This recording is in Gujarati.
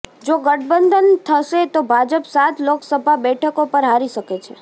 જો ગઠબંધન થશે તો ભાજપ સાત લોકસભા બેઠકો પર હારી શકે છે